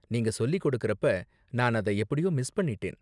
நீங்க சொல்லி கொடுக்குறப்ப நான் அத எப்படியோ மிஸ் பண்ணிட்டேன்.